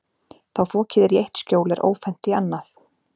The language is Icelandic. Þá fokið er í eitt skjól er ófennt í annað.